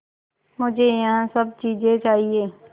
मुझे यह सब चीज़ें चाहिएँ